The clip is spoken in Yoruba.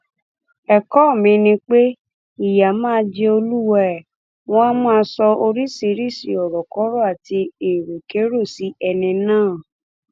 ẹkọ míín ni pé ìyà máa jẹ olúwae wọn máa sọ oríṣiríṣii ọrọkọrọ àti èròkerò sí ẹni náà